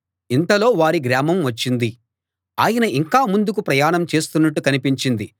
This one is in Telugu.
ఇంతలో వారి గ్రామం వచ్చింది ఆయన ఇంకా ముందుకు ప్రయాణం చేస్తున్నట్టు కనిపించింది